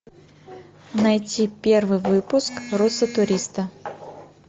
найти первый выпуск руссо туристо